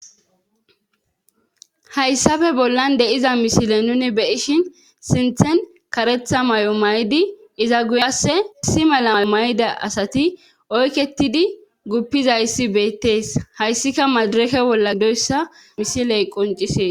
Hayssafe bollan de7iza misile nuni beyishin sinthen karetha may7o maydi iza guyasse si mala may7ida asati oyketidi guppizayssi beettees hayssika madirake wolla gdoyssa misiley qoncisees